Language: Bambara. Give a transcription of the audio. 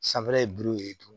Sanfɛla ye buruw ye tumu